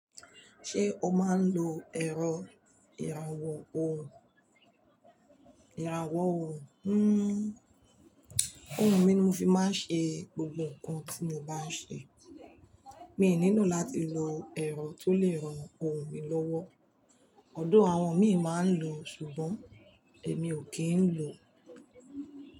Ṣé o máa ń lo ẹ̀rọ ìràwọ̀ o, ìràwọ̀ orun? Òhun mi ni mo fi máa ń ṣe gbogbo nǹkan tí mo bá ń ṣe. Mi ò nílò láti lo ẹ̀rọ tó lè ran òhun mi lọ́wọ́. Although àwọn mi máa ń lò ó ṣùgbọ́n èmi ò kí ń lò ó.